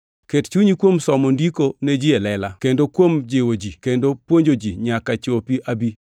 Ket chunyi kuom somo Ndiko ne ji e lela, kendo kuom jiwo ji kendo puonjo ji nyaka chopi abi.